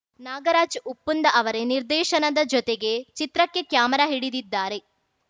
ನಾಗರಾಜ್‌ ಉಪ್ಪುಂದ ಅವರೇ ನಿರ್ದೇಶನದ ಜೊತೆಗೆ ಚಿತ್ರಕ್ಕೆ ಕ್ಯಾಮೆರಾ ಹಿಡಿದಿದ್ದಾರೆ